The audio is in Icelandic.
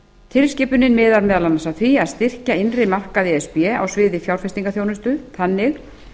tilskipunin miðar meðal annars að styrkja innri markaði e s b á sviði fjárfestingarþjónustu þannig